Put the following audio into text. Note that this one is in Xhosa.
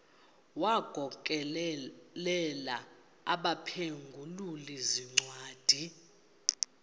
wagokelela abaphengululi zincwadi